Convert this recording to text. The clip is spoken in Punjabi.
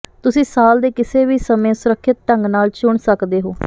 ਤੁਸੀਂ ਸਾਲ ਦੇ ਕਿਸੇ ਵੀ ਸਮੇਂ ਸੁਰੱਖਿਅਤ ਢੰਗ ਨਾਲ ਚੁਣ ਸਕਦੇ ਹੋ